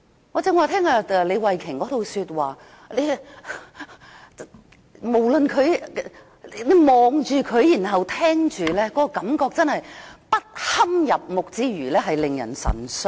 我剛才聽畢李慧琼議員的發言，不論是看着她或聽着她說話，覺得不堪入目之餘，還感到神傷。